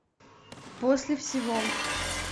после всего